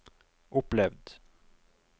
opplevd